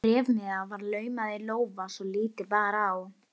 Bréfmiða var laumað í lófa svo lítið bar á.